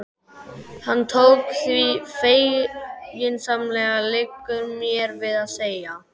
Hann tók því feginsamlega, liggur mér við að segja.